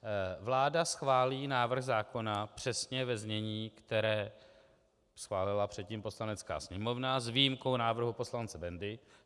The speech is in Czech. Vláda schválí návrh zákona přesně ve znění, které schválila předtím Poslanecká sněmovna, s výjimkou návrhu poslance Bendy.